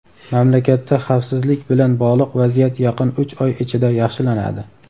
Mamlakatda xavfsizlik bilan bog‘liq vaziyat yaqin uch oy ichida yaxshilanadi.